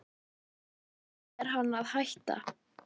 En af hverju er hann að hætta?